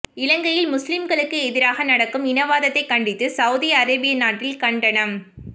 இலங்கையில் முல்லீம்களுக்கு எதிராக நடக்கும் இனவாதத்தை கண்டித்து சவூதி அரேபிய நாட்டில் கண்டனம்